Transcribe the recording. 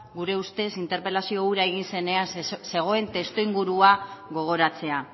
gure ustez interpelazio hura egin zenean zegoen testuingurua gogoratzea